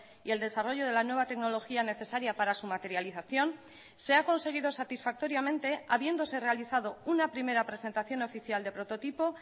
y el desarrollo de la nueva tecnología necesaria para su materialización se ha conseguido satisfactoriamente habiéndose realizado una primera presentación oficial de prototipo